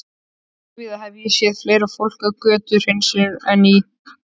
Óvíða hef ég séð fleira fólk við götuhreinsun en í